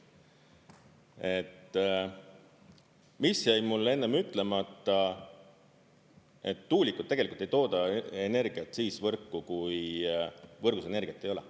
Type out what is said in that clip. Et mis jäi mulle ennem ütlemata, et tuulikud tegelikult ei tooda energiat siis võrku, kui võrgus energiat ei ole.